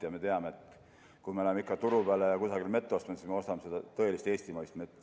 Ja me teame, et kui me läheme ikka turu peale ja mett ostame, siis me ostame seda tõelist eestimaist mett.